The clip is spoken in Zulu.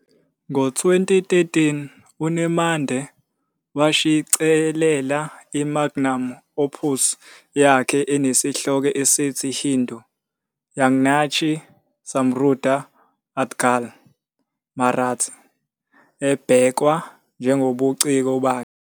Ngo-2013, uNemade washicilela i-magnum opus yakhe enesihloko esithi "Hindu- Jagnyachi Samruddha Adgal", Marathi, ebhekwa njengobuciko bakhe.